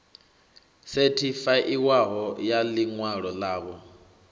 sethifaiwaho ya ḽi ṅwalo ḽavho